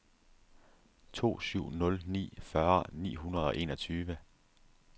to syv nul ni fyrre ni hundrede og enogtyve